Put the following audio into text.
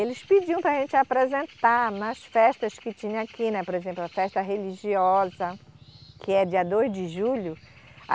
Eles pediam para a gente apresentar nas festas que tinham aqui, né por exemplo, a festa religiosa, que é dia dois de julho.